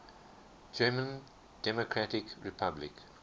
german democratic republic